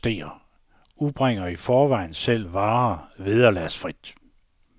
To lokale købmænd protesterer udbringer i forvejen selv varer vederlagsfrit.